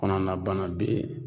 Kɔnɔna bana be yen